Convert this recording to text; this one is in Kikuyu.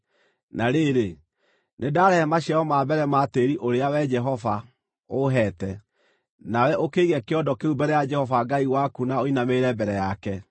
na rĩrĩ, nĩndarehe maciaro ma mbere ma tĩĩri ũrĩa, Wee Jehova, ũheete.” Nawe ũkĩige kĩondo kĩu mbere ya Jehova Ngai waku na ũinamĩrĩre mbere yake.